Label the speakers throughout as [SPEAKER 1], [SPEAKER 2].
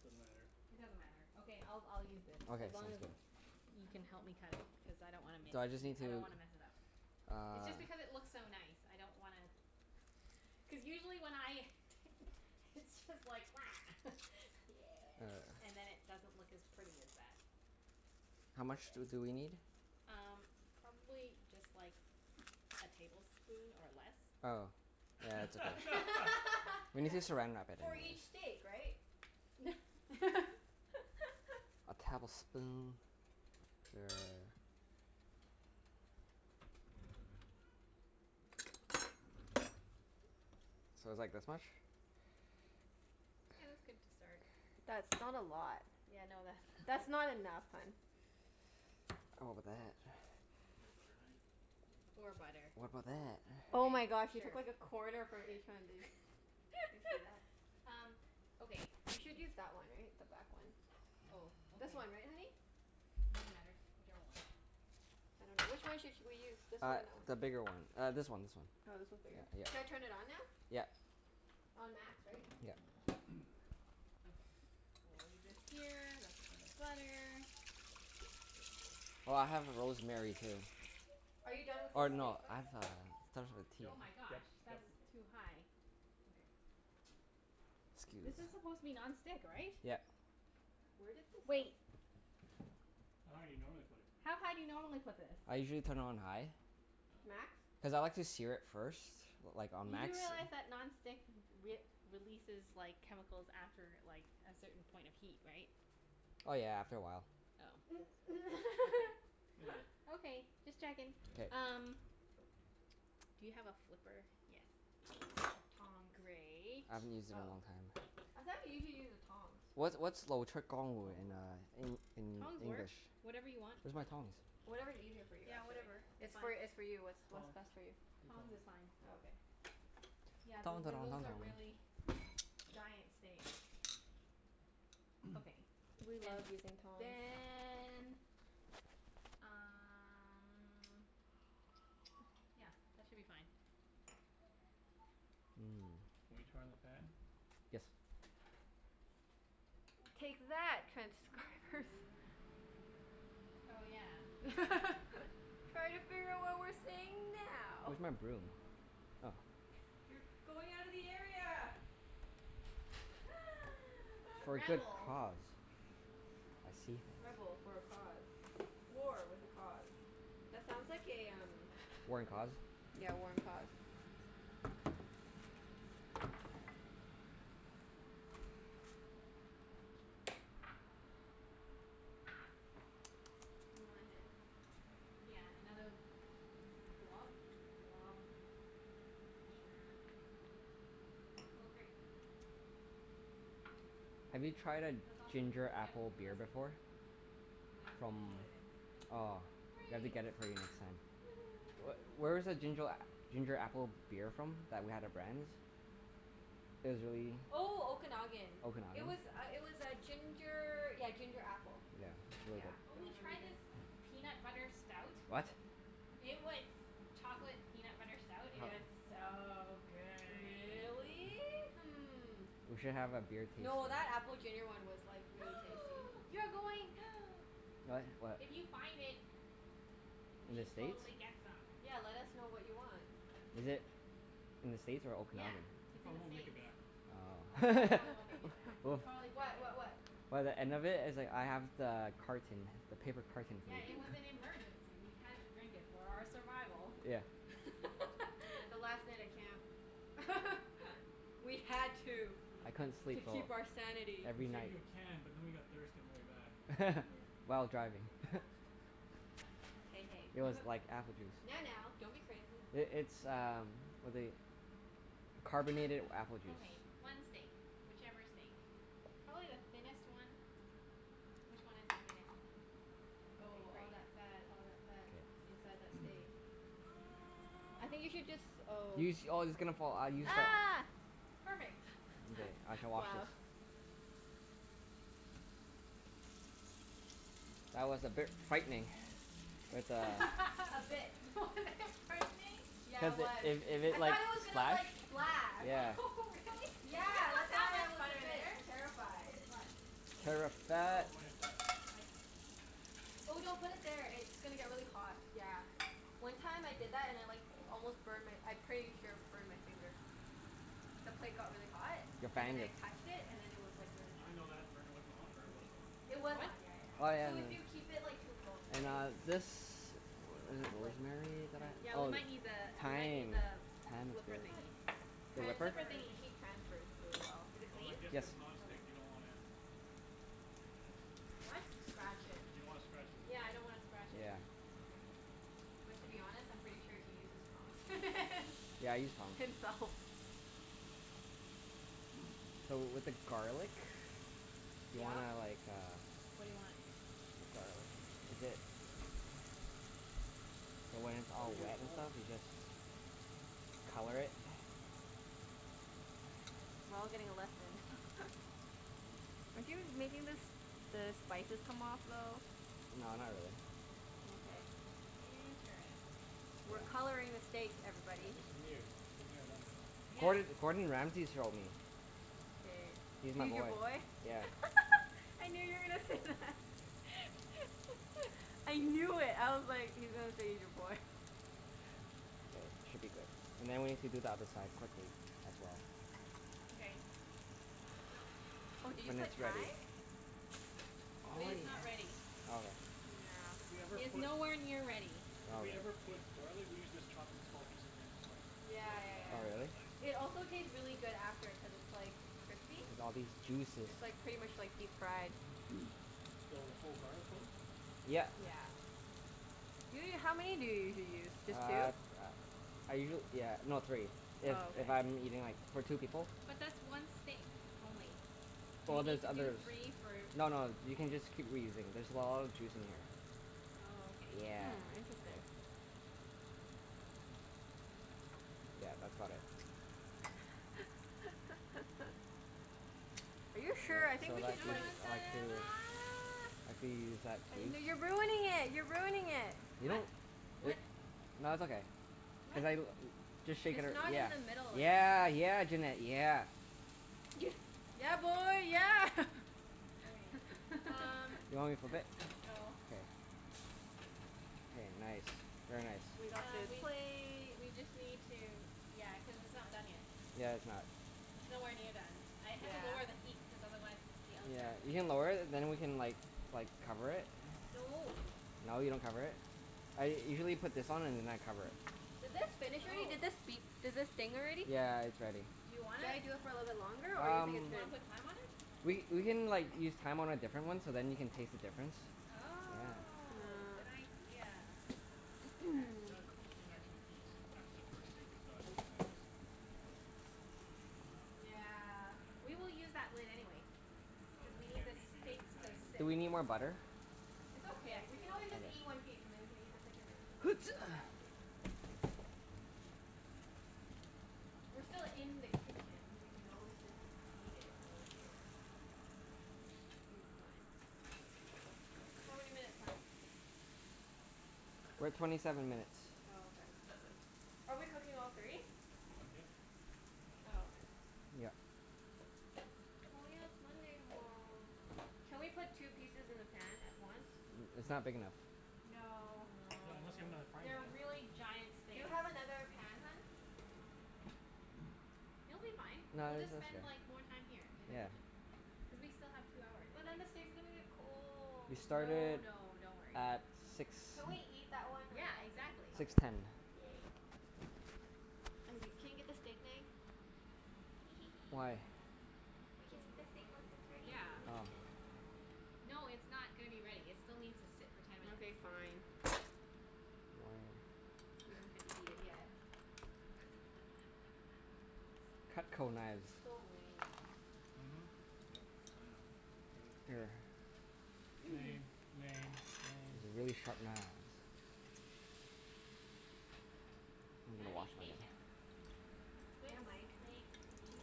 [SPEAKER 1] Doesn't matter.
[SPEAKER 2] It doesn't matter. Okay, I'll I'll use this.
[SPEAKER 3] Okay,
[SPEAKER 2] As long
[SPEAKER 3] sounds
[SPEAKER 2] as
[SPEAKER 3] good.
[SPEAKER 2] you
[SPEAKER 4] I
[SPEAKER 2] can
[SPEAKER 4] don't know.
[SPEAKER 2] help me cut it. Because I don't wanna miss
[SPEAKER 3] So I just
[SPEAKER 2] n-
[SPEAKER 3] need
[SPEAKER 2] I don't
[SPEAKER 3] to
[SPEAKER 2] wanna mess it up. It's just
[SPEAKER 3] Uh.
[SPEAKER 2] because it looks so nice. I don't wanna Cuz usually when I t- it's just like
[SPEAKER 4] Yeah.
[SPEAKER 3] Uh.
[SPEAKER 2] And then it doesn't look as pretty as that.
[SPEAKER 3] How
[SPEAKER 4] That's
[SPEAKER 3] much
[SPEAKER 4] okay.
[SPEAKER 3] do do we need?
[SPEAKER 2] Um, probably just like a tablespoon, or less.
[SPEAKER 3] Oh, yeah, that's okay. We need to Saran Wrap it
[SPEAKER 4] For
[SPEAKER 3] anyway.
[SPEAKER 4] each steak, right?
[SPEAKER 3] A tablespoon. Sure. So it's like this much?
[SPEAKER 2] Yeah, that's good to start.
[SPEAKER 4] That's not a lot.
[SPEAKER 2] Yeah, no
[SPEAKER 4] That's
[SPEAKER 2] that's
[SPEAKER 4] not
[SPEAKER 2] not
[SPEAKER 4] enough, hun.
[SPEAKER 3] Oh, but that
[SPEAKER 1] You have butter knife? You could use
[SPEAKER 2] Poor
[SPEAKER 1] butter knife.
[SPEAKER 2] butter.
[SPEAKER 3] What about that?
[SPEAKER 4] Oh my gosh,
[SPEAKER 2] Okay,
[SPEAKER 4] you
[SPEAKER 2] sure.
[SPEAKER 4] took like a corner from each one, dude. Do you see that?
[SPEAKER 2] Um, okay
[SPEAKER 4] You
[SPEAKER 2] th-
[SPEAKER 4] should use that one, right? The back one.
[SPEAKER 2] Oh, okay.
[SPEAKER 4] This one, right honey?
[SPEAKER 2] It doesn't matter. Whichever one.
[SPEAKER 4] I dunno. Which one should sh- we use? This one
[SPEAKER 3] Uh,
[SPEAKER 4] or that one?
[SPEAKER 3] the bigger one. Uh, this one, this one.
[SPEAKER 4] Oh, this one's bigger?
[SPEAKER 3] Yeah,
[SPEAKER 4] Should
[SPEAKER 3] yeah.
[SPEAKER 4] I turn it on now?
[SPEAKER 3] Yeah.
[SPEAKER 4] On max, right?
[SPEAKER 3] Yeah.
[SPEAKER 2] Okay. We'll leave this here. That's for the butter.
[SPEAKER 3] Oh, I have rosemary too.
[SPEAKER 4] Are you done with this
[SPEAKER 3] Or
[SPEAKER 4] steak
[SPEAKER 3] no, I have
[SPEAKER 4] spice?
[SPEAKER 3] uh, starts with a t.
[SPEAKER 2] Oh
[SPEAKER 1] Yep
[SPEAKER 2] my gosh,
[SPEAKER 1] yep yep.
[SPEAKER 2] that's
[SPEAKER 4] Mkay.
[SPEAKER 2] too high. Okay. This
[SPEAKER 3] Scuse.
[SPEAKER 2] is supposed to be non-stick, right?
[SPEAKER 3] Yep.
[SPEAKER 4] Where did this of-
[SPEAKER 2] Wait.
[SPEAKER 1] How high you normally put it?
[SPEAKER 2] How high do you normally put this?
[SPEAKER 3] I usually turn it on high
[SPEAKER 1] Oh.
[SPEAKER 4] Max?
[SPEAKER 3] cuz I like to sear it first. Like on
[SPEAKER 2] You do
[SPEAKER 3] max.
[SPEAKER 2] realize that non-stick w- we- releases like, chemicals after like, a certain point of heat, right?
[SPEAKER 3] Oh yeah, after a while.
[SPEAKER 2] Oh, okay.
[SPEAKER 1] Meh.
[SPEAKER 2] Okay, just checking.
[SPEAKER 3] K.
[SPEAKER 2] Um Do you have a flipper? Yes.
[SPEAKER 4] Tongs.
[SPEAKER 2] Great.
[SPEAKER 3] I haven't used it in a
[SPEAKER 4] Oh,
[SPEAKER 3] long time.
[SPEAKER 4] I thought usually you use the tongs?
[SPEAKER 3] What's what's in uh
[SPEAKER 1] Tongs work.
[SPEAKER 3] En- in
[SPEAKER 2] Tongs work.
[SPEAKER 3] English?
[SPEAKER 2] Whatever you want.
[SPEAKER 3] Where's my tongs?
[SPEAKER 4] Whatever's easier for you,
[SPEAKER 2] Yeah,
[SPEAKER 4] actually.
[SPEAKER 2] whatever. It's
[SPEAKER 4] It's
[SPEAKER 2] fine.
[SPEAKER 4] for, it's for you. It's what's
[SPEAKER 1] Tongs.
[SPEAKER 4] best for you.
[SPEAKER 1] Use
[SPEAKER 2] Tongs
[SPEAKER 1] tongs.
[SPEAKER 2] is fine.
[SPEAKER 4] Oh, okay.
[SPEAKER 2] Yeah,
[SPEAKER 3] Tong
[SPEAKER 2] th-
[SPEAKER 3] to-
[SPEAKER 2] th-
[SPEAKER 3] tong
[SPEAKER 2] those
[SPEAKER 3] tong
[SPEAKER 2] are
[SPEAKER 3] tong.
[SPEAKER 2] really giant steak. Okay.
[SPEAKER 4] We
[SPEAKER 2] And
[SPEAKER 4] love using tongs.
[SPEAKER 2] then um Yeah, that should be fine.
[SPEAKER 3] Mmm.
[SPEAKER 1] Wanna turn on the fan?
[SPEAKER 3] Yes.
[SPEAKER 4] Take that, transcribers.
[SPEAKER 2] Oh yeah.
[SPEAKER 4] Try to figure out what we're saying now.
[SPEAKER 3] Where's my broom? Oh.
[SPEAKER 4] You're going outta the area!
[SPEAKER 3] For a good
[SPEAKER 2] Rebel.
[SPEAKER 3] cause. I see.
[SPEAKER 4] Rebel for a cause. War with a cause. That sounds like a um
[SPEAKER 3] War and cause?
[SPEAKER 4] Yeah, war and cause. You want a hand?
[SPEAKER 2] Yeah, another
[SPEAKER 4] Glub?
[SPEAKER 2] glob. Sure. Oh, great.
[SPEAKER 3] Have you tried a
[SPEAKER 2] That's awesome.
[SPEAKER 3] ginger
[SPEAKER 2] Yep.
[SPEAKER 3] apple
[SPEAKER 2] No,
[SPEAKER 3] beer
[SPEAKER 2] that's good.
[SPEAKER 3] before?
[SPEAKER 2] And then you
[SPEAKER 3] From,
[SPEAKER 2] can just
[SPEAKER 1] No.
[SPEAKER 2] put it in.
[SPEAKER 3] aw, we have to
[SPEAKER 2] Great.
[SPEAKER 3] get it for you next time. Wh-
[SPEAKER 2] Woohoo.
[SPEAKER 3] where's the ginger a- ginger apple beer from, that we had at Brandi's? It was really
[SPEAKER 4] Oh, Okanagan. It
[SPEAKER 3] Okanagan?
[SPEAKER 4] was uh it was uh ginger, yeah ginger apple.
[SPEAKER 3] Yeah. Really
[SPEAKER 4] Yeah,
[SPEAKER 3] good.
[SPEAKER 2] Oh,
[SPEAKER 4] it
[SPEAKER 2] we
[SPEAKER 4] was really
[SPEAKER 2] tried
[SPEAKER 1] Hmm.
[SPEAKER 2] this
[SPEAKER 4] good.
[SPEAKER 2] peanut butter stout.
[SPEAKER 3] What?
[SPEAKER 2] It was chocolate peanut butter stout. It was
[SPEAKER 4] Yeah.
[SPEAKER 2] so good.
[SPEAKER 4] Really? Hmm.
[SPEAKER 3] We should have a beer tasting.
[SPEAKER 4] No, that apple ginger one was like, really tasty.
[SPEAKER 2] You're going
[SPEAKER 3] What? What?
[SPEAKER 2] If you find it we
[SPEAKER 3] In the
[SPEAKER 2] should
[SPEAKER 3] States?
[SPEAKER 2] totally get some.
[SPEAKER 4] Yeah, let us know what you want.
[SPEAKER 3] Is it in the States or
[SPEAKER 2] Yeah,
[SPEAKER 3] Okanagan?
[SPEAKER 1] It
[SPEAKER 2] it's in the
[SPEAKER 1] probably won't make
[SPEAKER 2] States.
[SPEAKER 1] it back.
[SPEAKER 2] Yeah, it probably won't make it back. You'll
[SPEAKER 3] Oh.
[SPEAKER 2] probably drink
[SPEAKER 4] What?
[SPEAKER 2] it.
[SPEAKER 4] What what?
[SPEAKER 3] By the end of it, it's like I have the carton. The paper carton for
[SPEAKER 2] Yeah, it
[SPEAKER 3] you.
[SPEAKER 2] was an emergency. We had to drink it for our survival.
[SPEAKER 3] Yeah.
[SPEAKER 4] Yeah, the last night at camp. We had to.
[SPEAKER 2] We
[SPEAKER 3] I
[SPEAKER 2] had
[SPEAKER 3] couldn't
[SPEAKER 4] To
[SPEAKER 3] sleep
[SPEAKER 2] to.
[SPEAKER 3] for,
[SPEAKER 4] keep our sanity.
[SPEAKER 1] We
[SPEAKER 3] every
[SPEAKER 1] saved
[SPEAKER 3] night.
[SPEAKER 1] you a can but then we got thirsty on the way back.
[SPEAKER 3] While driving.
[SPEAKER 4] Hey,
[SPEAKER 3] It was
[SPEAKER 4] hey.
[SPEAKER 3] like apple juice.
[SPEAKER 4] Now, now, don't be crazy.
[SPEAKER 3] I- it's uh what they, carbonated apple juice.
[SPEAKER 2] Okay, one steak. Whichever steak. Probably the thinnest one. Which one is the thinnest one? Okay,
[SPEAKER 4] Oh,
[SPEAKER 2] great.
[SPEAKER 4] all that fat, all that fat
[SPEAKER 3] K.
[SPEAKER 4] inside that steak. I think you should jus- oh.
[SPEAKER 3] You sh- oh, it's gonna fall. Uh, you
[SPEAKER 1] Use the tongs.
[SPEAKER 3] sh-
[SPEAKER 4] Ah!
[SPEAKER 2] Perfect.
[SPEAKER 3] Okay. I shall wash
[SPEAKER 4] Wow.
[SPEAKER 3] this. That was a bit frightening. With a
[SPEAKER 4] A bit.
[SPEAKER 2] Was it frightening?
[SPEAKER 4] Yeah,
[SPEAKER 3] Cuz
[SPEAKER 4] it
[SPEAKER 3] it
[SPEAKER 4] was.
[SPEAKER 3] it it
[SPEAKER 4] I
[SPEAKER 3] it like
[SPEAKER 4] thought it was gonna
[SPEAKER 3] splash
[SPEAKER 4] like, splash.
[SPEAKER 3] Yeah.
[SPEAKER 2] Really?
[SPEAKER 4] Yeah, that's why I was a bit terrified.
[SPEAKER 2] What?
[SPEAKER 1] It's clean plate.
[SPEAKER 3] Terrified.
[SPEAKER 2] Oh,
[SPEAKER 1] For when it's done.
[SPEAKER 2] I see.
[SPEAKER 4] Oh, don't put it there. It's gonna get really hot. Yeah. One time I did that and I like almost burned my, I pretty sure burned my finger. The plate got really hot
[SPEAKER 3] Your
[SPEAKER 4] and then
[SPEAKER 3] fan
[SPEAKER 4] I
[SPEAKER 3] did.
[SPEAKER 4] touched it, and then it was like really hot.
[SPEAKER 1] Even though that burner wasn't on, or it was on?
[SPEAKER 4] It was
[SPEAKER 2] What?
[SPEAKER 4] on, yeah yeah
[SPEAKER 1] Oh,
[SPEAKER 3] Oh
[SPEAKER 4] yeah.
[SPEAKER 3] yeah,
[SPEAKER 4] So
[SPEAKER 3] I
[SPEAKER 1] okay.
[SPEAKER 4] if you
[SPEAKER 3] know.
[SPEAKER 4] keep it like too close,
[SPEAKER 3] And
[SPEAKER 4] right?
[SPEAKER 3] uh this. Is it
[SPEAKER 4] But like
[SPEAKER 3] rosemary that
[SPEAKER 4] tran-
[SPEAKER 3] I,
[SPEAKER 2] Yeah, we
[SPEAKER 3] oh,
[SPEAKER 2] might need the, we might
[SPEAKER 3] thyme.
[SPEAKER 2] need the flipper
[SPEAKER 4] I thought
[SPEAKER 2] thingie.
[SPEAKER 3] Thyme The
[SPEAKER 2] The
[SPEAKER 3] ripper?
[SPEAKER 2] flipper
[SPEAKER 4] transfers. The
[SPEAKER 2] thingie.
[SPEAKER 4] heat transfers really well.
[SPEAKER 2] Is it
[SPEAKER 1] Oh,
[SPEAKER 2] clean?
[SPEAKER 1] I guess
[SPEAKER 3] Yes.
[SPEAKER 1] cuz
[SPEAKER 2] Okay.
[SPEAKER 1] non-stick you don't wanna I guess.
[SPEAKER 2] What?
[SPEAKER 1] You d-
[SPEAKER 4] Scratch it.
[SPEAKER 1] you don't wanna scratch it with the
[SPEAKER 2] Yeah, I
[SPEAKER 1] tongs.
[SPEAKER 2] don't wanna scratch it.
[SPEAKER 3] Yeah.
[SPEAKER 1] Okay.
[SPEAKER 4] But to be honest, I'm pretty sure he uses prongs.
[SPEAKER 3] Yeah, I use tongs.
[SPEAKER 4] Himself.
[SPEAKER 3] So w- with the garlic you
[SPEAKER 2] Yeah?
[SPEAKER 3] wanna like, uh
[SPEAKER 2] What do you want?
[SPEAKER 3] Garlic. Is it So when it's
[SPEAKER 1] Oh,
[SPEAKER 3] all
[SPEAKER 1] you do
[SPEAKER 3] wet
[SPEAKER 1] it
[SPEAKER 3] and
[SPEAKER 1] whole.
[SPEAKER 3] stuff you just color it.
[SPEAKER 4] We're all getting a lesson. Are you making the s- the spices come off a little?
[SPEAKER 3] No, not really.
[SPEAKER 4] Mkay.
[SPEAKER 2] Interesting.
[SPEAKER 4] We're coloring the steak,
[SPEAKER 1] Yeah,
[SPEAKER 4] everybody.
[SPEAKER 1] this is new. We've never done this.
[SPEAKER 2] Yeah.
[SPEAKER 3] Gord- Gordon Ramsey showed me.
[SPEAKER 4] K.
[SPEAKER 3] He's my
[SPEAKER 4] He's your
[SPEAKER 3] boy.
[SPEAKER 4] boy?
[SPEAKER 3] Yeah.
[SPEAKER 4] I knew you were gonna say that. I knew it. I was like, he's gonna say he's your boy.
[SPEAKER 3] There. Should be good. And then we have to do the other side quickly, as well.
[SPEAKER 2] Mkay.
[SPEAKER 4] Oh, did you put thyme?
[SPEAKER 2] It
[SPEAKER 1] If
[SPEAKER 2] is
[SPEAKER 1] w-
[SPEAKER 2] not ready.
[SPEAKER 3] Okay.
[SPEAKER 4] Yeah.
[SPEAKER 1] If we ever
[SPEAKER 2] It is
[SPEAKER 1] put
[SPEAKER 2] nowhere near ready.
[SPEAKER 1] If we ever
[SPEAKER 3] Okay.
[SPEAKER 1] put garlic, we usually just chop it in small pieces and then just like
[SPEAKER 4] Yeah
[SPEAKER 1] rub it
[SPEAKER 4] yeah
[SPEAKER 3] Oh
[SPEAKER 1] on,
[SPEAKER 4] yeah.
[SPEAKER 1] but
[SPEAKER 3] really?
[SPEAKER 1] like
[SPEAKER 4] It also taste really good after cuz it's like crispy.
[SPEAKER 3] Look at all these juices.
[SPEAKER 4] It's like pretty much like deep fried.
[SPEAKER 1] So, the whole garlic clove?
[SPEAKER 3] Yeah.
[SPEAKER 4] Yeah.
[SPEAKER 2] Yeah.
[SPEAKER 4] Ju- how many do you usually use?
[SPEAKER 3] Uh
[SPEAKER 4] Just two?
[SPEAKER 3] uh, I usuall- yeah, no, three. If
[SPEAKER 4] Oh, okay.
[SPEAKER 3] if I'm eating like, for two people.
[SPEAKER 2] But that's one steak only. You
[SPEAKER 3] Well
[SPEAKER 2] need
[SPEAKER 3] there's
[SPEAKER 2] to do
[SPEAKER 3] others.
[SPEAKER 2] three for
[SPEAKER 3] No no, you can just keep reusing. There's a lot of juice in here.
[SPEAKER 2] Oh, okay.
[SPEAKER 3] Yeah.
[SPEAKER 4] Hmm, interesting.
[SPEAKER 3] Yeah, that's about it.
[SPEAKER 4] Are you
[SPEAKER 3] So
[SPEAKER 4] sure? I think we
[SPEAKER 2] No
[SPEAKER 3] let's
[SPEAKER 4] should
[SPEAKER 2] no,
[SPEAKER 3] do
[SPEAKER 4] like
[SPEAKER 2] it's not
[SPEAKER 3] side two. I could use that piece.
[SPEAKER 4] N- no you're ruining it! You're ruining it!
[SPEAKER 3] Really?
[SPEAKER 2] What? What
[SPEAKER 3] Wh- nah, it's okay. Cuz
[SPEAKER 2] What?
[SPEAKER 3] I l- just shake it
[SPEAKER 4] It's
[SPEAKER 3] ar-
[SPEAKER 4] not in the middle
[SPEAKER 3] yeah,
[SPEAKER 4] anymore.
[SPEAKER 3] yeah. Yeah, Junette, yeah.
[SPEAKER 4] Yeah, boy, yeah!
[SPEAKER 2] Okay, um
[SPEAKER 3] Do you want me to flip it?
[SPEAKER 2] No.
[SPEAKER 3] K. K, nice. Very nice.
[SPEAKER 4] We got
[SPEAKER 2] Um,
[SPEAKER 4] the
[SPEAKER 2] we
[SPEAKER 4] plate.
[SPEAKER 2] we just need to, yeah, cuz it's not done yet.
[SPEAKER 3] Yeah, it's not.
[SPEAKER 2] It's nowhere near done. I had to lower the
[SPEAKER 4] Yeah.
[SPEAKER 2] heat cuz otherwise the
[SPEAKER 3] Yeah.
[SPEAKER 2] outside was
[SPEAKER 3] You
[SPEAKER 2] gonna
[SPEAKER 3] can
[SPEAKER 2] get
[SPEAKER 3] lower it and then we can like like cover it.
[SPEAKER 2] No.
[SPEAKER 3] No, you don't cover it? I usually put this on and then I cover it.
[SPEAKER 4] Did this finish already?
[SPEAKER 2] Oh.
[SPEAKER 4] Did this beep? Did this ding already?
[SPEAKER 3] Yeah, it's ready.
[SPEAKER 2] Do you want
[SPEAKER 4] Should I
[SPEAKER 2] it?
[SPEAKER 4] do it for a little longer or you
[SPEAKER 3] Um,
[SPEAKER 4] think
[SPEAKER 2] Do
[SPEAKER 4] it's
[SPEAKER 2] you wanna
[SPEAKER 4] good?
[SPEAKER 2] put thyme on it?
[SPEAKER 3] we we can like, use thyme on a different one so then you can taste the difference. Yeah.
[SPEAKER 2] Oh, good
[SPEAKER 4] Mm.
[SPEAKER 2] idea.
[SPEAKER 1] Yeah, I suppose we can actually eat after the first steak is done, and then just cook I dunno.
[SPEAKER 4] Yeah.
[SPEAKER 1] I
[SPEAKER 2] We will
[SPEAKER 1] dunno.
[SPEAKER 2] use that lid anyway
[SPEAKER 1] Oh,
[SPEAKER 2] cuz
[SPEAKER 1] then
[SPEAKER 2] we need
[SPEAKER 1] again
[SPEAKER 2] the
[SPEAKER 1] we should be at the
[SPEAKER 2] steaks to
[SPEAKER 1] dining room
[SPEAKER 2] sit.
[SPEAKER 3] Do we
[SPEAKER 1] table,
[SPEAKER 3] need more
[SPEAKER 1] so
[SPEAKER 3] butter?
[SPEAKER 4] It's
[SPEAKER 2] Yes,
[SPEAKER 4] okay. We
[SPEAKER 2] we
[SPEAKER 4] can
[SPEAKER 2] will.
[SPEAKER 4] always just eat one piece and then we can eat the second room a- piece at the dining table. We're still in the kitchen. We can always just eat it while we're here.
[SPEAKER 1] Mm.
[SPEAKER 4] Think it's fine. How many minutes, hun?
[SPEAKER 3] We're at twenty seven minutes.
[SPEAKER 4] Oh, okay. Are we cooking all three?
[SPEAKER 1] Yep. Might as
[SPEAKER 4] Oh,
[SPEAKER 1] well.
[SPEAKER 4] okay.
[SPEAKER 3] Yep.
[SPEAKER 4] Oh yeah, it's Monday tomorrow. Can we put two pieces in the pan at once?
[SPEAKER 3] N- it's not
[SPEAKER 1] Nope.
[SPEAKER 3] big enough.
[SPEAKER 2] No.
[SPEAKER 1] Not unless you have another
[SPEAKER 4] Aw.
[SPEAKER 1] frying pan?
[SPEAKER 2] They're really giant
[SPEAKER 4] Do you
[SPEAKER 2] steaks.
[SPEAKER 4] have another pan, hun?
[SPEAKER 2] It'll be fine.
[SPEAKER 3] No,
[SPEAKER 2] We'll
[SPEAKER 3] it's it's
[SPEAKER 2] just
[SPEAKER 3] okay.
[SPEAKER 2] spend like, more time here in the
[SPEAKER 3] Yeah.
[SPEAKER 2] kitchen. Cuz
[SPEAKER 4] Okay.
[SPEAKER 2] we still have two hours,
[SPEAKER 4] But then the
[SPEAKER 2] anyway.
[SPEAKER 4] steak's gonna get
[SPEAKER 3] We
[SPEAKER 4] cold.
[SPEAKER 2] No
[SPEAKER 3] started
[SPEAKER 2] no, don't worry.
[SPEAKER 3] at six,
[SPEAKER 4] Can we eat that one
[SPEAKER 2] Yeah,
[SPEAKER 4] right after?
[SPEAKER 2] exactly.
[SPEAKER 3] six
[SPEAKER 4] Okay,
[SPEAKER 3] ten.
[SPEAKER 4] yay. I'm g- can you get the steak knife? Hee hee hee.
[SPEAKER 3] Why?
[SPEAKER 4] We can
[SPEAKER 2] Cuz
[SPEAKER 4] eat the
[SPEAKER 2] w-
[SPEAKER 4] stake once
[SPEAKER 2] wh-
[SPEAKER 4] it's ready
[SPEAKER 2] w-
[SPEAKER 4] in the
[SPEAKER 2] yeah.
[SPEAKER 3] Oh.
[SPEAKER 4] kitchen.
[SPEAKER 2] No, it's not gonna be ready. It still needs to sit for ten minutes.
[SPEAKER 4] Okay, fine.
[SPEAKER 3] One.
[SPEAKER 4] We don't get to eat it yet.
[SPEAKER 3] Cutco knives.
[SPEAKER 4] So lame.
[SPEAKER 1] Mhm. Yep. I know. Everything's
[SPEAKER 3] Here.
[SPEAKER 1] lame. Lame. Lame.
[SPEAKER 3] These
[SPEAKER 1] Lame.
[SPEAKER 3] are really sharp knives. I'm
[SPEAKER 2] You gotta
[SPEAKER 3] gonna
[SPEAKER 2] be
[SPEAKER 3] wash mine.
[SPEAKER 2] patient. Good
[SPEAKER 4] Yeah, Mike.
[SPEAKER 2] steaks need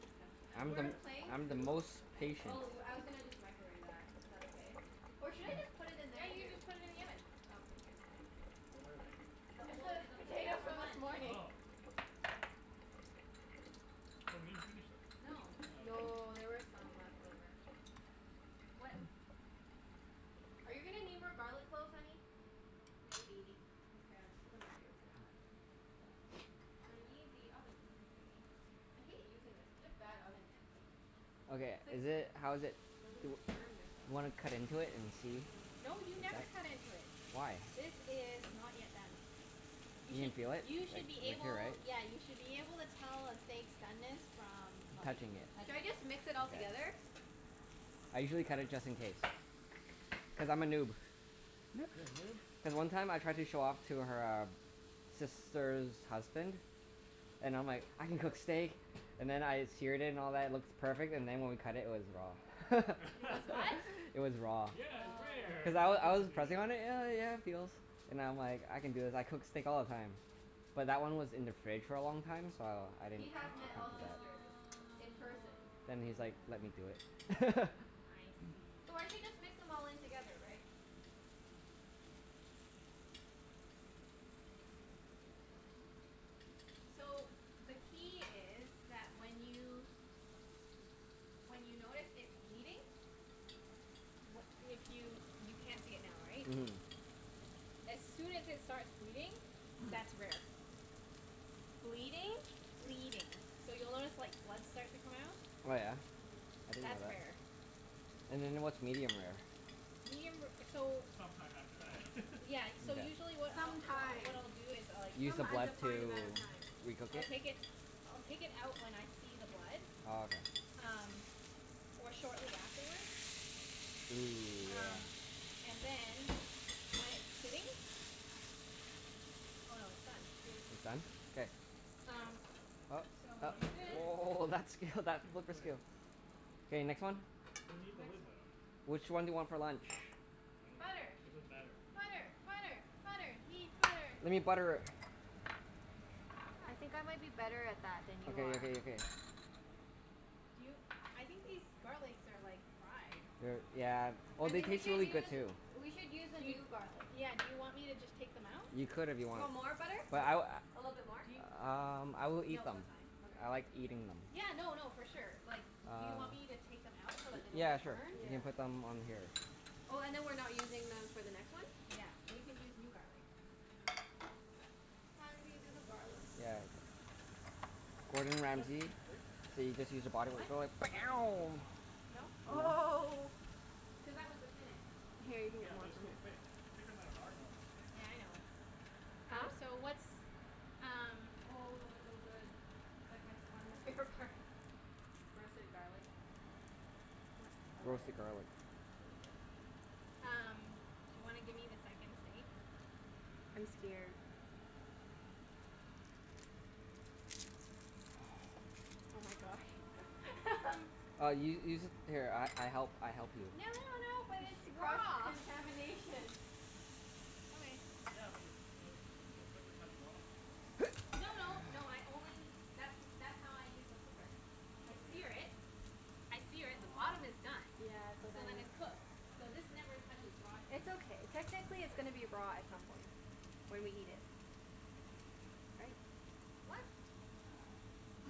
[SPEAKER 1] What
[SPEAKER 3] I'm
[SPEAKER 1] is
[SPEAKER 4] We
[SPEAKER 3] the,
[SPEAKER 4] were
[SPEAKER 1] this?
[SPEAKER 2] patience.
[SPEAKER 4] playing
[SPEAKER 3] I'm the
[SPEAKER 4] Coup.
[SPEAKER 3] most patient.
[SPEAKER 4] Oh, I was gonna just microwave that. Is that okay? Or should I just put it in
[SPEAKER 2] Yeah,
[SPEAKER 4] there,
[SPEAKER 2] you can
[SPEAKER 4] too?
[SPEAKER 2] just put it in the oven.
[SPEAKER 4] Oh, okay. Here.
[SPEAKER 1] What are they?
[SPEAKER 2] The
[SPEAKER 4] Just
[SPEAKER 2] old,
[SPEAKER 4] the
[SPEAKER 2] the potatoes
[SPEAKER 4] potatoes
[SPEAKER 2] from
[SPEAKER 4] from this
[SPEAKER 2] lunch.
[SPEAKER 4] morning.
[SPEAKER 1] Oh. Oh, we didn't finish them.
[SPEAKER 2] No.
[SPEAKER 1] Oh, okay.
[SPEAKER 4] No, there were some left over.
[SPEAKER 2] What
[SPEAKER 4] Are you gonna need more garlic cloves, honey?
[SPEAKER 2] Maybe.
[SPEAKER 4] Okay, I'll just put them right here for now. I need the oven thingie. I hate using this. It's such a bad oven mitt, like
[SPEAKER 3] Okay,
[SPEAKER 4] It's like,
[SPEAKER 3] is
[SPEAKER 4] feel
[SPEAKER 3] it, how
[SPEAKER 4] like
[SPEAKER 3] is it?
[SPEAKER 4] I'm
[SPEAKER 3] Do
[SPEAKER 4] gonna
[SPEAKER 3] w-
[SPEAKER 4] burn
[SPEAKER 3] wanna cut
[SPEAKER 4] myself.
[SPEAKER 3] into it and see?
[SPEAKER 4] Yeah.
[SPEAKER 2] No, you never cut into it.
[SPEAKER 3] Why?
[SPEAKER 2] This is not yet done. You
[SPEAKER 3] You can
[SPEAKER 2] should,
[SPEAKER 3] feel it?
[SPEAKER 2] you should be
[SPEAKER 3] Like, right?
[SPEAKER 2] able, yeah, you should be able to tell a steak's doneness from like,
[SPEAKER 3] Touching it.
[SPEAKER 4] Should I
[SPEAKER 2] touching it.
[SPEAKER 4] just mix it all
[SPEAKER 3] K.
[SPEAKER 4] together?
[SPEAKER 3] I usually cut it
[SPEAKER 1] Sure.
[SPEAKER 3] just in case. Cuz I'm a noob.
[SPEAKER 1] You're a noob?
[SPEAKER 3] Then one time I tried to show off to her um sister's husband and I'm like, "I can cook steak." And then I seared it and all that, it looks perfect. And then when we cut it, it was raw.
[SPEAKER 2] It was what?
[SPEAKER 3] It was raw.
[SPEAKER 1] Yeah, it's
[SPEAKER 2] Oh.
[SPEAKER 1] rare!
[SPEAKER 3] Cuz I
[SPEAKER 1] I
[SPEAKER 3] w-
[SPEAKER 1] was meant
[SPEAKER 3] I
[SPEAKER 1] to
[SPEAKER 3] was
[SPEAKER 1] do that.
[SPEAKER 3] pressing on it, and yeah, yeah it feels. And I'm like, I can do this. I cook steak all the time. But that one was in the fridge for a long time, so I didn't
[SPEAKER 4] He
[SPEAKER 3] think
[SPEAKER 4] has met
[SPEAKER 1] Ah.
[SPEAKER 4] all
[SPEAKER 3] of that.
[SPEAKER 4] sisters in person.
[SPEAKER 3] Then he's like, "Let me do
[SPEAKER 2] Oh.
[SPEAKER 3] it."
[SPEAKER 2] I
[SPEAKER 4] So I should
[SPEAKER 2] see.
[SPEAKER 4] just mix them all in together, right? Hmm.
[SPEAKER 2] So, the key is that when you, when you notice it bleeding wh- if you, you can't see it now, right?
[SPEAKER 3] Mhm.
[SPEAKER 2] As soon as it starts bleeding, that's rare.
[SPEAKER 4] Bleeding?
[SPEAKER 2] Bleeding. So, you'll notice like, blood start to come out.
[SPEAKER 3] Oh yeah?
[SPEAKER 4] Mm.
[SPEAKER 3] I didn't know
[SPEAKER 2] That's
[SPEAKER 3] that.
[SPEAKER 2] rare.
[SPEAKER 3] And then what's medium rare?
[SPEAKER 2] Medium ra- so
[SPEAKER 1] It's some time after that.
[SPEAKER 2] Yeah, y- so
[SPEAKER 3] Mkay.
[SPEAKER 2] usually what I'll,
[SPEAKER 4] Some
[SPEAKER 2] what I, what
[SPEAKER 4] time.
[SPEAKER 2] I'll do is like
[SPEAKER 3] Use
[SPEAKER 4] Some
[SPEAKER 3] the blood
[SPEAKER 4] undefined
[SPEAKER 3] to
[SPEAKER 4] amount of time.
[SPEAKER 3] recook
[SPEAKER 2] I'll take
[SPEAKER 3] it?
[SPEAKER 2] it, I'll take it out when I see the blood.
[SPEAKER 3] Oh, okay.
[SPEAKER 2] Um, or shortly afterward.
[SPEAKER 3] Ooh, yeah.
[SPEAKER 2] Um, and then when it's sitting Oh no, it's done.
[SPEAKER 4] Mm.
[SPEAKER 3] It's done? K.
[SPEAKER 2] Um, so
[SPEAKER 1] What?
[SPEAKER 3] Oh,
[SPEAKER 2] we
[SPEAKER 1] What,
[SPEAKER 2] do this.
[SPEAKER 1] really?
[SPEAKER 3] oh, that skill, that
[SPEAKER 1] That seems
[SPEAKER 3] flipper
[SPEAKER 1] quick.
[SPEAKER 3] skill. K, next one.
[SPEAKER 1] We need the
[SPEAKER 2] Next
[SPEAKER 1] lid,
[SPEAKER 2] one.
[SPEAKER 1] though.
[SPEAKER 3] Which one do you want for lunch?
[SPEAKER 1] I don't care.
[SPEAKER 2] Butter.
[SPEAKER 1] It doesn't matter.
[SPEAKER 2] Butter! Butter! Butter! Need butter.
[SPEAKER 3] We need butter.
[SPEAKER 4] I think I might be better at that than you
[SPEAKER 3] Okay
[SPEAKER 4] are.
[SPEAKER 3] okay okay.
[SPEAKER 2] Do you, I think these garlics are like, fried.
[SPEAKER 3] They're, yeah, well
[SPEAKER 4] I
[SPEAKER 3] they
[SPEAKER 4] think we
[SPEAKER 3] taste
[SPEAKER 4] should
[SPEAKER 3] really good
[SPEAKER 4] use
[SPEAKER 3] too.
[SPEAKER 4] We should use a
[SPEAKER 2] Do y-
[SPEAKER 4] new garlic.
[SPEAKER 2] yeah, do you want me to just take them out?
[SPEAKER 3] You could if you
[SPEAKER 4] You
[SPEAKER 3] wanted.
[SPEAKER 4] want more butter?
[SPEAKER 3] But I w-
[SPEAKER 4] A little bit more?
[SPEAKER 2] Do yo-
[SPEAKER 3] a- um I will eat
[SPEAKER 2] No,
[SPEAKER 3] them.
[SPEAKER 2] that's fine.
[SPEAKER 3] I
[SPEAKER 4] Okay.
[SPEAKER 3] like eating them.
[SPEAKER 2] Yeah, no no, for sure. Like do you
[SPEAKER 3] Um, y-
[SPEAKER 2] want me to take them out so that they don't
[SPEAKER 3] yeah
[SPEAKER 2] get
[SPEAKER 3] sure.
[SPEAKER 2] burned?
[SPEAKER 3] You
[SPEAKER 4] Yeah.
[SPEAKER 3] can put them on here.
[SPEAKER 4] Oh, and then we're not using them for the next one?
[SPEAKER 2] Yeah, we can use new garlic.
[SPEAKER 4] Ah, okay. Hun? Do you do the garlic?
[SPEAKER 3] Yeah. Gordon
[SPEAKER 1] Was that
[SPEAKER 3] Ramsay.
[SPEAKER 1] too quick?
[SPEAKER 3] So you just use a body
[SPEAKER 2] What?
[SPEAKER 1] Was that too quick?
[SPEAKER 2] No?
[SPEAKER 1] No?
[SPEAKER 4] Oh.
[SPEAKER 2] Cuz that was the thinnest.
[SPEAKER 4] Here, you can get
[SPEAKER 1] Yeah, but
[SPEAKER 4] more
[SPEAKER 1] that's
[SPEAKER 4] from
[SPEAKER 1] still
[SPEAKER 4] here.
[SPEAKER 1] thick. Thicker than our normal steaks.
[SPEAKER 2] Yeah, I know.
[SPEAKER 4] Huh?
[SPEAKER 2] Um, so what's um
[SPEAKER 4] Oh, those are so good. It's like my f- one of my favorite parts. Roasted garlic.
[SPEAKER 2] What
[SPEAKER 4] I love it.
[SPEAKER 3] Roasted garlic.
[SPEAKER 4] It's really good.
[SPEAKER 2] Um, do you wanna give me the second steak?
[SPEAKER 4] I'm scared. Oh my gosh.
[SPEAKER 3] Uh u- use it, here I I help, I help you.
[SPEAKER 2] No no no, but
[SPEAKER 4] She,
[SPEAKER 2] it's
[SPEAKER 4] cross
[SPEAKER 2] raw!
[SPEAKER 4] contamination.
[SPEAKER 2] Okay.
[SPEAKER 1] Yeah, but the the, doesn't the flipper touch raw?
[SPEAKER 2] No no, no I only that's w- that's how I use the flipper. I sear
[SPEAKER 1] Okay.
[SPEAKER 2] it I sear it. The bottom is
[SPEAKER 1] uh-huh.
[SPEAKER 2] done.
[SPEAKER 4] Yeah, so
[SPEAKER 2] So
[SPEAKER 4] then
[SPEAKER 2] then it's cooked.
[SPEAKER 1] I
[SPEAKER 2] So
[SPEAKER 1] guess.
[SPEAKER 2] this never touches raw side.
[SPEAKER 4] It's okay. Technically it's gonna be raw at some point. When we eat it. Right?
[SPEAKER 2] What?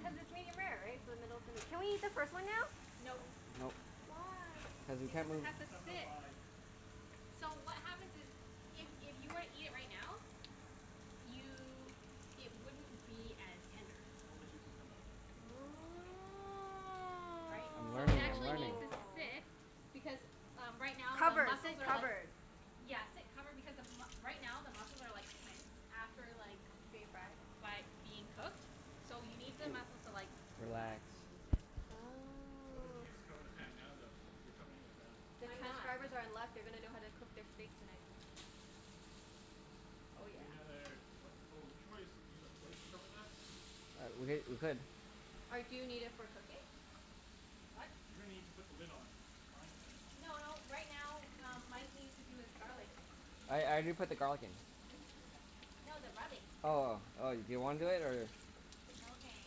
[SPEAKER 4] Cuz it's medium-rare, right? So the middle's gonna Can we eat the first one now?
[SPEAKER 2] No.
[SPEAKER 1] No.
[SPEAKER 3] Nope.
[SPEAKER 4] Why?
[SPEAKER 3] Cuz the
[SPEAKER 2] Because
[SPEAKER 3] temper-
[SPEAKER 2] it has to
[SPEAKER 1] Seven oh
[SPEAKER 2] sit.
[SPEAKER 1] five.
[SPEAKER 2] So what happens is if if you were to eat it right now you, it wouldn't be as tender.
[SPEAKER 1] All the juices come out. Supposedly.
[SPEAKER 2] Right?
[SPEAKER 3] You're
[SPEAKER 2] So it
[SPEAKER 3] learning. You're
[SPEAKER 2] actually
[SPEAKER 3] learning.
[SPEAKER 2] needs to sit
[SPEAKER 4] Oh.
[SPEAKER 2] because, uh right now the
[SPEAKER 4] Covered.
[SPEAKER 2] muscles
[SPEAKER 4] Sit
[SPEAKER 2] are like
[SPEAKER 4] covered.
[SPEAKER 2] Yeah, sit covered. Because the m- right now the muscles are like tense. After like
[SPEAKER 4] Being fried?
[SPEAKER 2] by being cooked. So you need the muscles to like,
[SPEAKER 3] Relax.
[SPEAKER 2] relax and loosen.
[SPEAKER 1] Why don't
[SPEAKER 4] Oh.
[SPEAKER 1] you just cover the pan now though, if you're covering it with that?
[SPEAKER 4] The
[SPEAKER 2] I'm not.
[SPEAKER 4] transcribers are in luck. They're gonna know how to cook their steaks tonight. Oh
[SPEAKER 1] Do
[SPEAKER 4] yeah.
[SPEAKER 1] we need another, what? Oh, we should probably just use a plate to cover that?
[SPEAKER 3] Uh, we h- we could.
[SPEAKER 4] Or do you need it for cooking?
[SPEAKER 2] What?
[SPEAKER 1] You're gonna need to put the lid on, on the frying pan at some
[SPEAKER 2] N-
[SPEAKER 1] point,
[SPEAKER 2] no,
[SPEAKER 1] right?
[SPEAKER 2] right now um Mike needs to do his garlic thing.
[SPEAKER 3] I I
[SPEAKER 1] Oh.
[SPEAKER 3] did put the garlic in.
[SPEAKER 2] No, the rubbing.
[SPEAKER 3] Oh, oh. Do you wanna do it, or
[SPEAKER 2] Okay,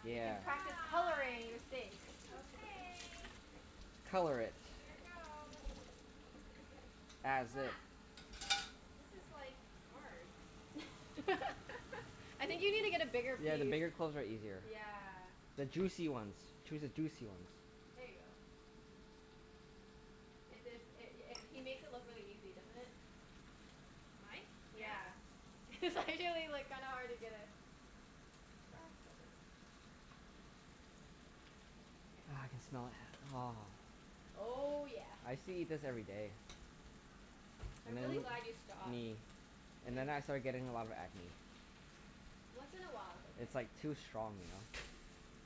[SPEAKER 2] I
[SPEAKER 4] You
[SPEAKER 2] can
[SPEAKER 4] can
[SPEAKER 3] Yeah.
[SPEAKER 4] practice coloring
[SPEAKER 2] try.
[SPEAKER 4] the steak.
[SPEAKER 2] Okay.
[SPEAKER 3] Color it.
[SPEAKER 2] Here goes.
[SPEAKER 3] As
[SPEAKER 2] Ha.
[SPEAKER 3] if.
[SPEAKER 2] This is like, hard.
[SPEAKER 4] I think you need to get a bigger
[SPEAKER 3] Yeah,
[SPEAKER 4] piece.
[SPEAKER 3] the bigger cloves are easier.
[SPEAKER 4] Yeah.
[SPEAKER 3] The juicy ones. Choose a juicy ones.
[SPEAKER 4] There ya go. It is, it i- it he makes it look really easy, doesn't it?
[SPEAKER 2] Mike? Yeah.
[SPEAKER 4] Yeah. It's actually like kinda hard to get a grasp of it.
[SPEAKER 2] Okay.
[SPEAKER 3] Ah, I can smell it. Aw.
[SPEAKER 4] Oh yeah.
[SPEAKER 3] I used to eat this every day. And
[SPEAKER 4] I'm
[SPEAKER 3] then,
[SPEAKER 4] really glad you stopped.
[SPEAKER 3] me. And then
[SPEAKER 4] Then
[SPEAKER 3] I started getting a lot of acne.
[SPEAKER 4] Once in a while it's okay.
[SPEAKER 3] It's like, too strong, you know?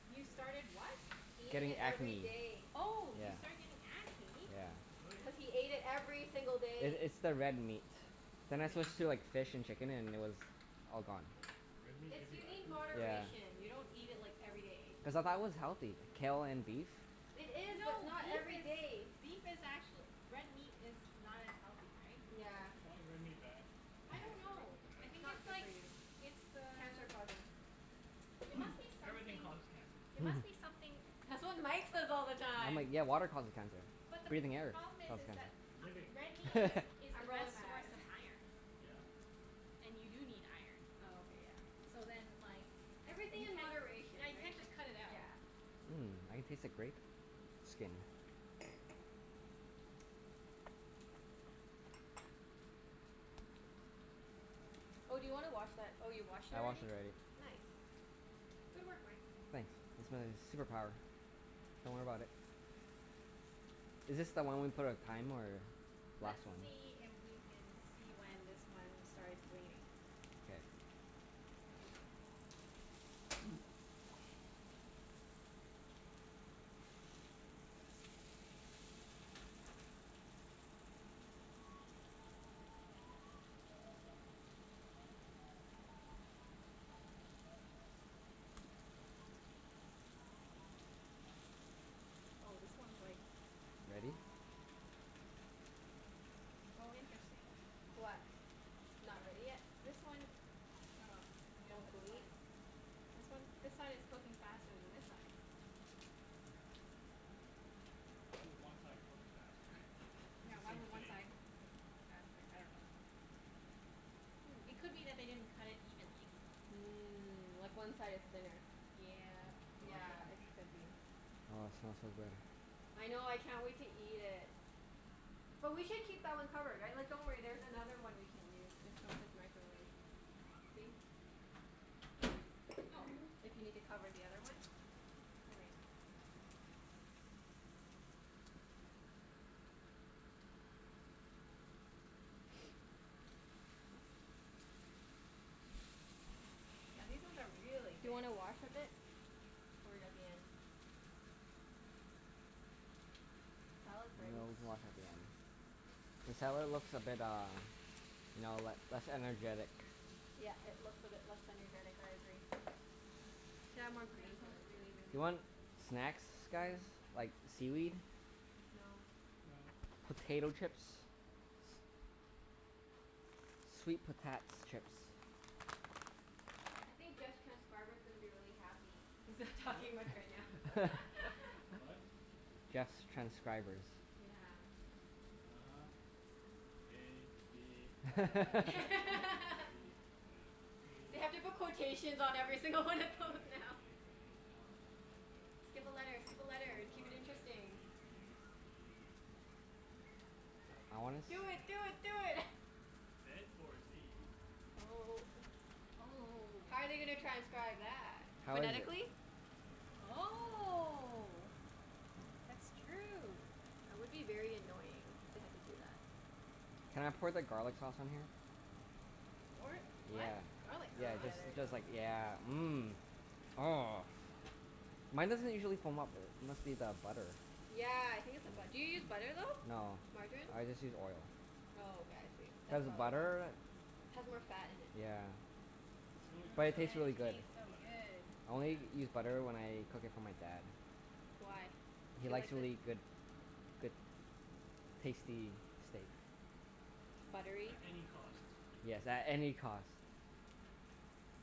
[SPEAKER 2] You started what?
[SPEAKER 4] Eating
[SPEAKER 3] Getting
[SPEAKER 4] it every
[SPEAKER 3] acne.
[SPEAKER 4] day.
[SPEAKER 2] Oh,
[SPEAKER 3] Yeah.
[SPEAKER 2] you started getting acne?
[SPEAKER 3] Yeah.
[SPEAKER 1] Really?
[SPEAKER 4] Cuz he ate it every single
[SPEAKER 3] I-
[SPEAKER 4] day.
[SPEAKER 3] it's the red meat. Then I
[SPEAKER 1] Red meat
[SPEAKER 4] Yeah.
[SPEAKER 3] switched
[SPEAKER 1] gives
[SPEAKER 3] to
[SPEAKER 1] you
[SPEAKER 3] like fish and chicken and it was all gone.
[SPEAKER 4] Yeah.
[SPEAKER 1] Red meat
[SPEAKER 4] It's,
[SPEAKER 1] gives you
[SPEAKER 4] you need
[SPEAKER 1] acne?
[SPEAKER 3] Yeah.
[SPEAKER 4] moderation. You don't eat it like, every day.
[SPEAKER 3] Cuz I thought it was healthy, kale and beef.
[SPEAKER 4] It is, but
[SPEAKER 2] No,
[SPEAKER 4] not
[SPEAKER 2] beef
[SPEAKER 4] every
[SPEAKER 2] is,
[SPEAKER 4] day.
[SPEAKER 2] beef is actuall- Red meat is not as healthy, right?
[SPEAKER 4] Yeah.
[SPEAKER 1] Why is red meat bad?
[SPEAKER 2] I
[SPEAKER 1] I
[SPEAKER 2] don't
[SPEAKER 1] didn't say it
[SPEAKER 2] know.
[SPEAKER 1] wasn't
[SPEAKER 2] I
[SPEAKER 1] bad.
[SPEAKER 4] It's
[SPEAKER 2] think
[SPEAKER 4] not
[SPEAKER 2] it's
[SPEAKER 4] good for
[SPEAKER 2] like,
[SPEAKER 4] you.
[SPEAKER 2] it's the
[SPEAKER 4] Cancer causing.
[SPEAKER 2] it must be
[SPEAKER 1] Everything
[SPEAKER 2] something
[SPEAKER 1] causes cancer.
[SPEAKER 2] it must be something
[SPEAKER 4] That's what Mike says all the
[SPEAKER 3] I'm
[SPEAKER 4] time.
[SPEAKER 3] like, yeah, water causes cancer.
[SPEAKER 2] But the p-
[SPEAKER 3] Breathing air
[SPEAKER 2] problem is,
[SPEAKER 3] causes
[SPEAKER 2] is
[SPEAKER 3] cancer.
[SPEAKER 2] that
[SPEAKER 1] Living.
[SPEAKER 2] a- red meat is is the
[SPEAKER 4] I'm
[SPEAKER 2] best
[SPEAKER 4] rolling my
[SPEAKER 2] source
[SPEAKER 4] eyes.
[SPEAKER 2] of iron.
[SPEAKER 1] Yeah.
[SPEAKER 2] And you do need iron.
[SPEAKER 4] Oh, okay. Yeah.
[SPEAKER 2] So then, like
[SPEAKER 4] Everything
[SPEAKER 2] you
[SPEAKER 4] in
[SPEAKER 2] can't,
[SPEAKER 4] moderation,
[SPEAKER 2] yeah, you
[SPEAKER 4] right?
[SPEAKER 2] can't
[SPEAKER 4] Like,
[SPEAKER 2] just cut it out.
[SPEAKER 4] yeah.
[SPEAKER 3] Mmm, I can taste the grape skin.
[SPEAKER 4] Oh, do you wanna wash that, oh you washed it
[SPEAKER 3] I washed
[SPEAKER 4] already?
[SPEAKER 3] it already.
[SPEAKER 4] Nice. Good work, Mike.
[SPEAKER 3] Thanks. It's my super power. Don't worry about it. Is this the one we put on thyme, or
[SPEAKER 2] Let's
[SPEAKER 3] last one?
[SPEAKER 2] see if we can see when this one starts bleeding.
[SPEAKER 3] K.
[SPEAKER 2] Oh, this one's like
[SPEAKER 3] Ready?
[SPEAKER 2] Oh, interesting.
[SPEAKER 4] What? Not ready yet?
[SPEAKER 2] This one, oh, I'm gonna
[SPEAKER 4] Won't
[SPEAKER 2] put this one
[SPEAKER 4] bleed?
[SPEAKER 2] This one, this side is cooking faster than this side.
[SPEAKER 1] Why would one side cook faster? It's
[SPEAKER 2] Yeah,
[SPEAKER 1] the
[SPEAKER 2] why
[SPEAKER 1] same
[SPEAKER 2] would one
[SPEAKER 1] steak.
[SPEAKER 2] side cook faster? I dunno. It
[SPEAKER 4] Hmm.
[SPEAKER 2] could be that they didn't cut it evenly.
[SPEAKER 4] Mm. Like one side is thinner.
[SPEAKER 2] Yep.
[SPEAKER 1] Oh yeah,
[SPEAKER 4] Yeah,
[SPEAKER 1] could
[SPEAKER 4] it
[SPEAKER 1] be.
[SPEAKER 4] could be.
[SPEAKER 3] Oh, it smells so good.
[SPEAKER 4] I know. I can't wait to eat it. But we should keep that one covered, right? Like, don't worry, there's another one we can use just from his microwave. See?
[SPEAKER 2] Oh.
[SPEAKER 4] If you need to cover the other one.
[SPEAKER 2] Okay. Yeah, these ones are really
[SPEAKER 4] Do you
[SPEAKER 2] thick.
[SPEAKER 4] wanna wash a bit? Or are you at the end?
[SPEAKER 3] We
[SPEAKER 4] Salad's ready.
[SPEAKER 3] can always wash at the end. The salad looks a bit uh, you know, le- less energetic.
[SPEAKER 4] Yeah, it looks a bit less energetic. I agree. We can add more
[SPEAKER 2] Yeah,
[SPEAKER 4] green
[SPEAKER 2] this
[SPEAKER 4] to
[SPEAKER 2] smells
[SPEAKER 4] it
[SPEAKER 2] really,
[SPEAKER 4] then.
[SPEAKER 2] really
[SPEAKER 3] You want
[SPEAKER 2] good.
[SPEAKER 3] snacks, guys?
[SPEAKER 2] Mmm.
[SPEAKER 3] Like, seaweed?
[SPEAKER 4] No.
[SPEAKER 1] No.
[SPEAKER 3] Potato chips? Sweet potats chips.
[SPEAKER 4] I think Jeff's transcriber's gonna be really happy. He's not
[SPEAKER 1] What?
[SPEAKER 4] talking much right now.
[SPEAKER 1] What?
[SPEAKER 3] Jeff's transcribers.
[SPEAKER 4] Yeah.
[SPEAKER 1] uh-huh. A b c d e f p
[SPEAKER 4] They have to put quotations
[SPEAKER 1] h i j k l
[SPEAKER 4] on
[SPEAKER 1] m
[SPEAKER 4] every
[SPEAKER 1] n
[SPEAKER 4] single one of those now.
[SPEAKER 1] o p
[SPEAKER 4] Skip a letter! Skip a
[SPEAKER 1] q
[SPEAKER 4] letter! Keep it
[SPEAKER 1] r s t u
[SPEAKER 4] interesting.
[SPEAKER 1] v w
[SPEAKER 3] I wanna
[SPEAKER 1] x
[SPEAKER 3] s-
[SPEAKER 4] Do
[SPEAKER 1] y
[SPEAKER 4] it!
[SPEAKER 1] zed.
[SPEAKER 4] Do it! Do it!
[SPEAKER 1] Zed or zee?
[SPEAKER 4] Oh.
[SPEAKER 2] Oh oh oh
[SPEAKER 4] How
[SPEAKER 2] oh.
[SPEAKER 4] are they gonna transcribe that?
[SPEAKER 3] How is it?
[SPEAKER 4] Phonetically?
[SPEAKER 1] I dunno.
[SPEAKER 2] Oh. That's true.
[SPEAKER 4] That would be very annoying if they had to do that.
[SPEAKER 3] Can I pour the garlic sauce on here?
[SPEAKER 2] G- what?
[SPEAKER 3] Yeah,
[SPEAKER 2] What? Garlic
[SPEAKER 3] yeah,
[SPEAKER 4] Oh
[SPEAKER 2] sauce?
[SPEAKER 4] yeah,
[SPEAKER 3] just
[SPEAKER 4] there ya
[SPEAKER 3] because like,
[SPEAKER 4] go.
[SPEAKER 3] yeah. Mmm. Oh, mine doesn't usually foam up. Must be the butter.
[SPEAKER 4] Yeah, I think it's the bu- do you use butter, though?
[SPEAKER 3] No,
[SPEAKER 4] Margarine?
[SPEAKER 3] I just use oil.
[SPEAKER 4] Oh, okay. I see.
[SPEAKER 3] Cuz
[SPEAKER 4] That's probably why.
[SPEAKER 3] butter,
[SPEAKER 4] Has more fat in it.
[SPEAKER 3] yeah.
[SPEAKER 1] She only
[SPEAKER 2] True,
[SPEAKER 3] But
[SPEAKER 1] just
[SPEAKER 3] it
[SPEAKER 2] but
[SPEAKER 1] started
[SPEAKER 3] tastes
[SPEAKER 2] and it
[SPEAKER 3] really
[SPEAKER 1] using
[SPEAKER 3] good.
[SPEAKER 1] b-
[SPEAKER 2] tastes so
[SPEAKER 1] butter.
[SPEAKER 2] good.
[SPEAKER 3] I only
[SPEAKER 4] Yeah.
[SPEAKER 3] use butter when I cook it for my dad.
[SPEAKER 4] Why?
[SPEAKER 3] He
[SPEAKER 4] He
[SPEAKER 3] likes
[SPEAKER 4] likes
[SPEAKER 3] really
[SPEAKER 4] it?
[SPEAKER 3] good good tasty steak.
[SPEAKER 4] Buttery?
[SPEAKER 1] At any cost.
[SPEAKER 3] Yes, at any cost.